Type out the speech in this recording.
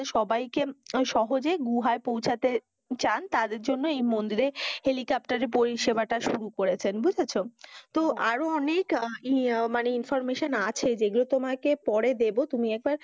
সবাইকে সহজে গুহায় পৌঁছাতে চান, তার জন্য এই মন্দিরে helicopter পরিসেবাটা শুরু করেছেন বুঝেছ? তো আরো অনেক ইয়ে মানে information আছে যেগুলো তোমাকে পরে দেব। তুমি একবার